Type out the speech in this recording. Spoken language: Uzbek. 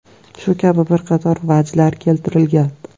Shu kabi bir qator vajlar keltirilgan.